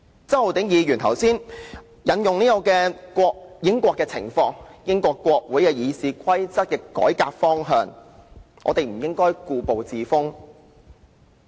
周浩鼎議員剛才引用英國的情況，並說及英國國會議事規則的改革方向，所以我們不應故步自封云云。